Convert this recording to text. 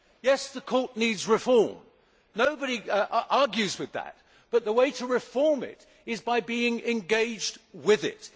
Yes, the Court needs reform nobody argues with that but the way to reform it is by being engaged with it.